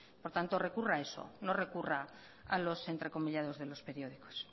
por tanto recurra a eso no recurra a los entrecomillados de los periódicos